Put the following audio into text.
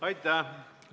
Aitäh!